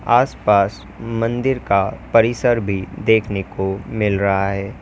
आसपास मंदिर का परिसर भी देखने को मिल रहा है।